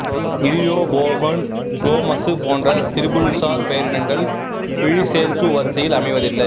இரிழோபோகோன் குளோமசு போன்ற திரபுள்சார் பேரினங்கள் பிழிசேல்சு வரிசையில் அமைவதில்லை